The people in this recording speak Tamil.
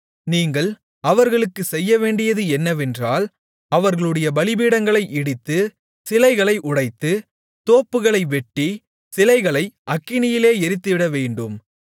நீங்கள் அவர்களுக்குச் செய்யவேண்டியது என்னவென்றால் அவர்களுடைய பலிபீடங்களை இடித்து சிலைகளை உடைத்து தோப்புகளை வெட்டி சிலைகளை அக்கினியிலே எரித்துவிடவேண்டும்